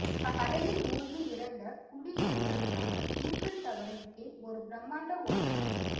கடலில் மூழ்கி இறந்த குடியேறிகளுக்காக ஈஃபிள் டவரின் கீழ் ஒரு பிரம்மாண்ட ஓவியம்